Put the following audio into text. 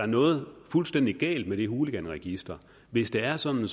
noget fuldstændig galt med det hooliganregister hvis det er sådan